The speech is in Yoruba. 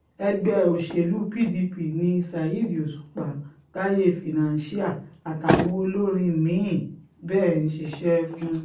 ẹgbẹ́ òsèlú pdp ni ṣáídì òṣùpá táyé financial àtàwọn olórin mí-ín bẹ́ẹ̀ ń ṣiṣẹ́ fún